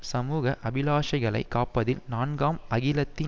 சமூக அபிலாஷைகளை காப்பதில் நான்காம் அகிலத்தின்